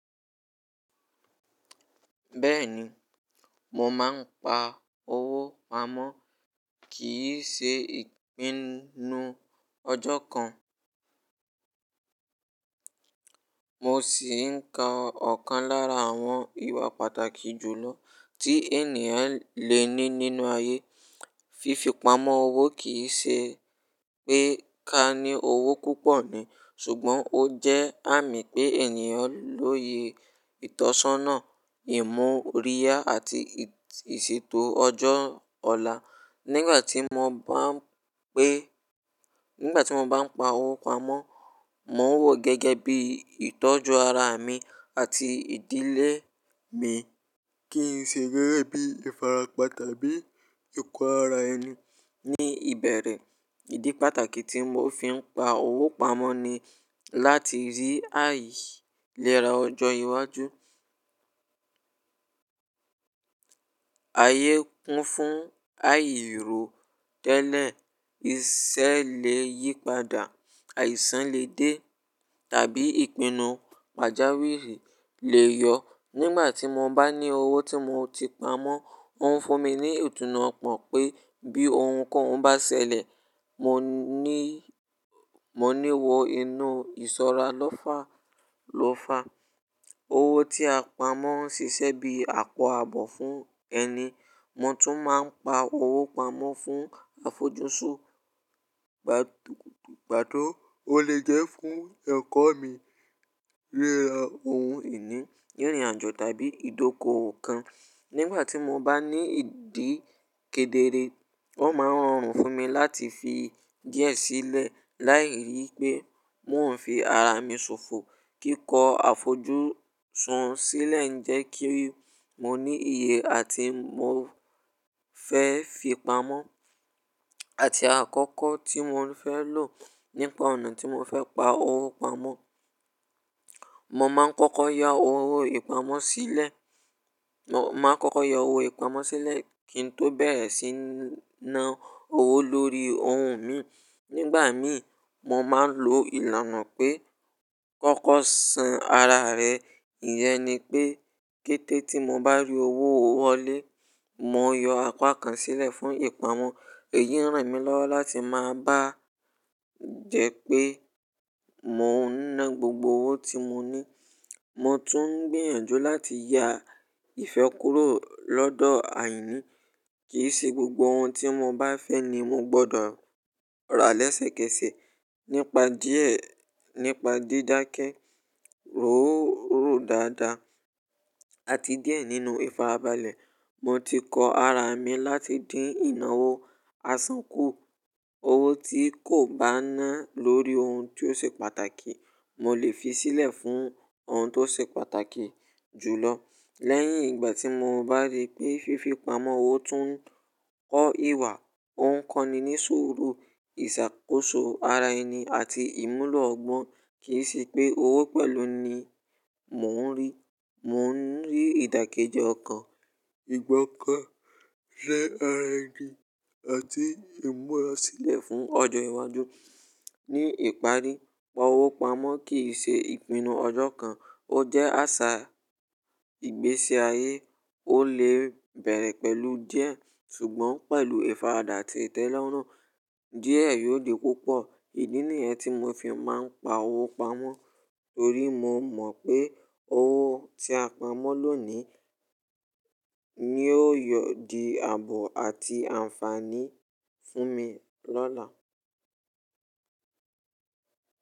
Bẹ́ẹ̀ni, mo máa ń pa owó pamọ́ kì í ṣe ìpinnu ọjọ́ kan. Mo sì ń ka ọ̀kan lára àwọn ìwà pàtàkì jù lọ tí ènìyàn le ní nínú ayé. Fífipamọ́ owó kì í ṣe pé ká ní owó púpọ̀ ní, ṣùgbọ́n ó jẹ́ àmì pé ènìyàn lóye ìtọ́sọ́nà, ìmú òríyá àti ìṣètò ọjọ́ ọ̀la. Nígbà tí mo bá ń pé nígbà tí mo bá ń pa owó pamọ́, mò ń wò ó gẹ́gẹ́ bí ìtọ́jú ara mi àti ìdílé mi kì í ṣe gẹ́gẹ́ bí ìfarapa tàbí ìkọ́ ara ẹni. Ní ìbẹ̀rẹ̀, ìdí pàtàkì tí mo fi ń pa owó pamọ́ ni láti rí àìlera ọjọ́ iwájú. Ayé kún fún àìró tẹ́lẹ̀, iṣẹ́ lè yípadà, àìsàn lè dé tàbí ìpinnu pàjáwìrì lè yọ. Nígbà tí mo bá ní owó tí mo ti pamọ́, ó ń fún mi ní ìtùnú ọ̀pọ̀ pé bí ohunkohun bá ṣẹlẹ̀, mo ní, mo ní wọ inú ìsọ̀ra lọ́fà, lọ́fà. Owó tí a pamọ́ ń ṣiṣẹ́ bí àpò ààbò fún ẹni. Mo tún máa ń pa owó pamọ́ fún àfojúsùn gbàdú-- gbádùn ó lè jẹ́ fún ẹ̀kọ́ mi, ríra ohun ìní, rírin ajọ tàbí ìdókòwò kan. Nígbà tí mo bá ní ìdí kedere, ó máa ń rọrùn fún mi láti fi díẹ̀ sílẹ̀ láì rí pé mò ń fi ara mi sòfo. Kíkọ́ àfojúsùn sílẹ̀ ń jẹ́ kí mo ní iye àti mo fẹ́ fi pamọ́ àti àkókò tí mò fẹ́ lò nípa ọ̀nà tí mò fẹ́ pa owó pamọ́. Mo máa ń kọ́kọ́ ya owó yi pamọ́ sílẹ̀, mo máa ń kọ́kọ́ yọ owó yi pamọ́ sílẹ̀ kí n tó bẹ̀rẹ̀ sí ní ná owó lórí ohun mi. Nígbà mí, mo máa ń lo ìlànà pé kọ́kọ́ san ara rẹ. Ìyẹn ni pé kété tí mo bá rí owó wọlé, mo yọ apá kan sílẹ̀ fún ìpamọ́. Èyí ń ràn mí lọ́wọ́ láti má bá jẹ́ pé mò ń ná gbogbo owó tí mo ní. Mo tún ń gbìyànjú láti ya ìfẹ́ kúrò lọ́dọ̀ àìní. Kì í ṣe gbogbo ohun tí mo bá fẹ́ ni mo gbọdọ̀ ra lẹ́sẹ̀kẹsẹ̀. Nípa díẹ̀, nípa dídákẹ́, rò ó rú dáadáa àti díẹ̀ nínú ìfarabalẹ̀. Mo ti kọ ara mi láti dín ìnáwó, àsán kú. Owó tí kò bá ná lórí ohun tió ṣe pàtàkì, mo lè fi sílẹ̀ fún ohun tó ṣe pàtàkì jù lọ. Lẹ́yìn ìgbà tí mo bá rí pé fífi pamọ́ owó tún kọ́ ìwà, ó ń kọ́ni ní sùúrù ìṣàkóso ara ẹni àti ìmúlò ọgbọ́n. Kì í ṣe pé owó pẹ̀lú ni mò ń rí. Mò ń rí ìdàkejì ọkàn, ìgbọ́kàn, ṣẹ́ ara ẹni àti ìmúra sílẹ̀ fún ọjọ́ iwájú. Ní ìparí, pa owó pamọ́ kì í ṣe ìpinnu ọjọ́ kan. Ó jẹ́ àṣà ìgbésí ayé. Ó lè bẹ̀rẹ̀ pẹ̀lú díẹ̀ ṣùgbọ́n pẹ̀lú ìfaradà àti ìtẹ́lọ́rùn, díẹ̀ yóò di púpọ̀. Idi ni yẹ́n tí mo fi máa ń pa owó pamọ́ torí mo mọ̀ pé owó tí a pamọ́ lónìí ni ó yóò di àbò àti àǹfààní fún mi lọ́la.